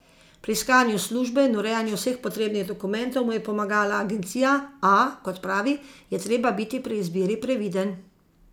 Pri iskanju službe in urejanju vseh potrebnih dokumentov mu je pomagala agencija, a, kot pravi, je treba biti pri izbiri previden.